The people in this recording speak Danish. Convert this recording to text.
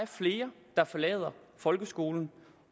flere der forlader folkeskolen